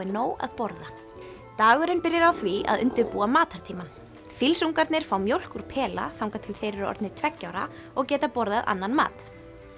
nóg að borða dagurinn byrjar á því að undirbúa matartímann fílsungarnir fá mjólk úr pela þangað til þeir eru orðnir tveggja ára og geta borðað annan mat